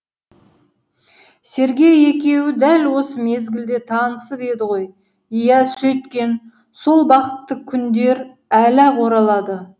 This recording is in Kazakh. сергей екеуі дәл осы мезгілде танысып еді ғой иә сөйткен сол бақытты күндер әлі ақ оралады